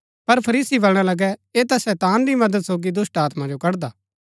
पर फरीसी बलणा लगै ऐह ता शैतान री मदद सोगी दुष्‍टात्मा जो कड़दा